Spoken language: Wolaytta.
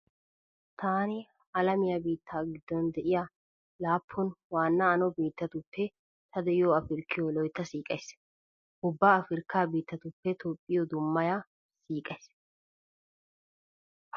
Taani alamiya biitta giddon de'iya laappun waanna ano biittatuppe ta de'iyo Afirkkiyo loytta siiqays. Ubba Afirkkaa biittatuppekka toophphiyo dummaya siiqays.